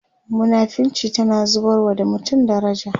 munafinci tana zubarwa da mutum daraja